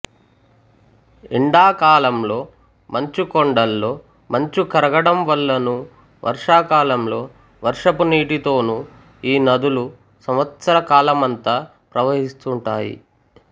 ఎండా కాలంలో మంచు కొండల్లో మంచు కరగడం వల్లనూ వర్షా కాలంలో వర్షపు నీటితోను ఈ నదులు సంవత్సకాలమంతా ప్రవహిస్తుంటాయి